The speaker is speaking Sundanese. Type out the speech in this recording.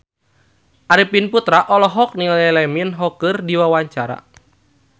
Arifin Putra olohok ningali Lee Min Ho keur diwawancara